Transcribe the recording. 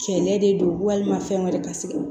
Sɛgɛn de don walima fɛn wɛrɛ ka segi